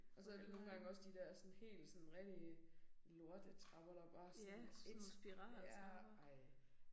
Og så det nogle gange også de der sådan helt sådan rigtige lortetrapper der bare sådan sådan ja ej